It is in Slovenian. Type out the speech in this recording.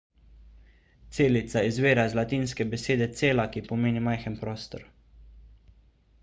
celica izvira iz latinske besede cella ki pomeni majhen prostor